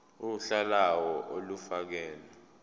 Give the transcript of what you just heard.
uhla lawo olufakelwe